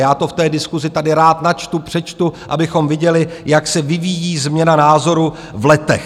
Já to v té diskusi tady rád načtu, přečtu, abychom viděli, jak se vyvíjí změna názoru v letech.